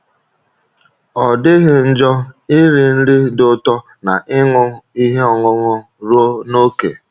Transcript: Ọ dịghị njọ iri nri dị ụtọ na ịṅụ ihe ọṅụṅụ ruo n’ókè.